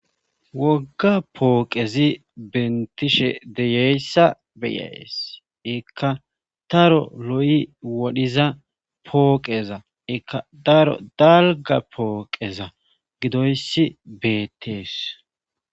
Wogga pooqezi bentishe deyeyssa beyaes ekka taro lo'i wodhiza pooqeza ekka daro dalga pooqeza gidoyssi beettees.